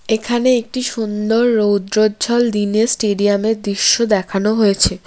এখানে একটি সুন্দর রৌদ্রজ্জ্বল দিনে স্টেডিয়ামের দিস্য দেখানো হয়েছে।